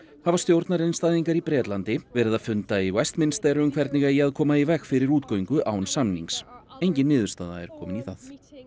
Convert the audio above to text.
hafa stjórnarandstæðingar í Bretlandi fundað í Westminster um hvernig eigi að koma í veg fyrir útgöngu án samnings engin niðurstaða er komin í það